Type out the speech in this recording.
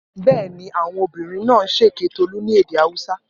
Bẹ́ẹ̀ ni, àwọn ọmọbìnrin náà ń ṣèké Tolú ní èdè Haúsá.